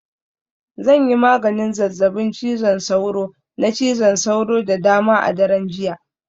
Zan yi maganin zazzabin cizon sauro, na cizon sauro da dama a daren jiya